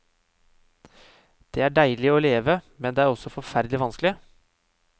Det er deilig å leve, men det er også forferdelig vanskelig.